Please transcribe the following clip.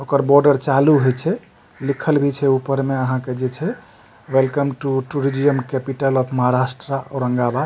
ओकर बॉर्डर चालू होय छै लिखल भी छै ऊपर मे आहां के जे छै welcome to tourism capital of Maharashtra Aurangabad --